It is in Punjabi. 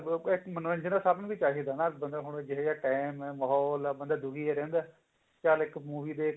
ਵੀ ਮਨੋਰੰਜਨ ਤਾਂ ਸਭ ਨੂੰ ਹੀ ਚਾਹੀਦਾ ਨਾ ਬੰਦਾ ਹੁਣ ਜਿਹੋਜਿਹਾ time ਹੈ ਮਾਹੋਲ ਹੈ ਬੰਦਾ ਦੁਖੀ ਜਾ ਰਹਿੰਦਾ ਚਲ ਇੱਕ movie